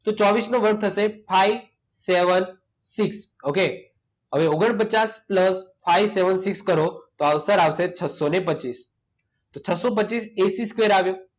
ચોવીસનો વર્ગ થશે five seven six. Okay? હવે ઓગણપચાસ પ્લસ ફાઈવ સેવન સિક્સ કરો તો આન્સર આવશે છસો ને પચીસ. તો છસો પચીસ એસી સ્કવેર આવ્યું.